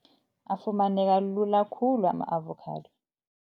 Afumaneka lula khulu ama-avokhado.